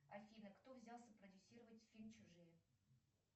афина кто взялся продюсировать фильм чужие